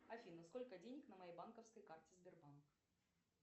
афина сколько денег на моей банковской карте сбербанк